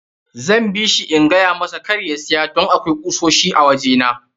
Zan bishi in gayamasa kar ya siya don akwai kusoshi a waje na.